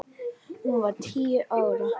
Hún var tíu ára.